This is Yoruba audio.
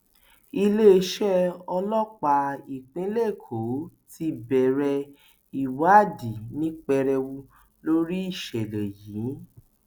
iléeṣẹ ọlọpàá ìpínlẹ èkó ti bẹrẹ ìwádìí ní pẹrẹu lórí ìṣẹlẹ yìí